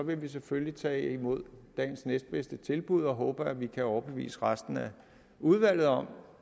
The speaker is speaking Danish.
vi selvfølgelig tage imod dagens næstbedste tilbud og håbe at vi kan overbevise resten af udvalget om